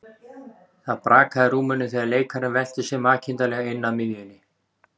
Það brakaði í rúminu þegar leikarinn velti sér makindalega inn að miðjunni.